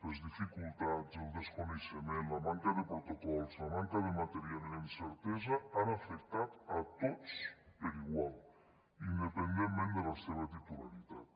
les dificultats el desconeixement la manca de protocols la manca de material i la incertesa han afectat a tots per igual independentment de la seva titularitat